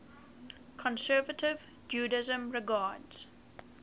conservative judaism regards